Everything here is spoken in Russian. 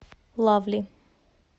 лавли